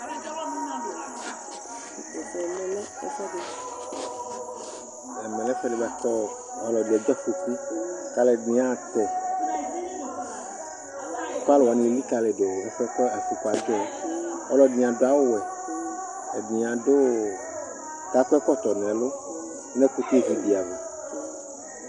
Ɛmɛlɛ ɛfʋɛdi bʋakʋ ɔlɔdi edze afoku kʋ alʋɛdìní yaha tɛ yi kʋ alu likalidu ɛfʋɛ kʋ afoku adzɔ yɛ Alʋɛdìní adu awu wɛ, ɛdí ako ɛkɔtɔ nu ɛlu nʋ ɛkutɛ vi di ava